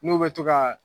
N'u bɛ to ka